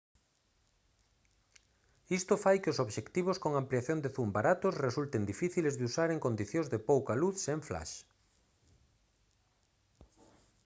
isto fai que os obxectivos con ampliación de zoom baratos resulten difíciles de usar en condicións de pouca luz sen flash